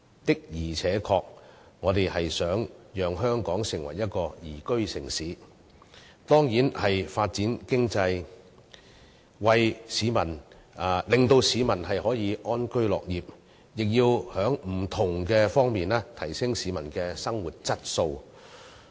的而且確，我們希望香港成為一個宜居城市，當然需要發展經濟，令市民可以安居樂業，亦要在不同方面提升市民的生活質素。